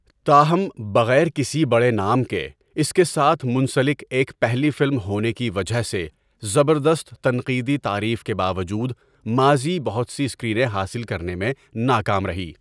تاہم، بغیر کسی بڑے نام کے اس کے ساتھ منسلک ایک پہلی فلم ہونے کی وجہ سے، زبردست تنقیدی تعریف کے باوجود، ماضی بہت سی اسکرینیں حاصل کرنے میں ناکام رہی۔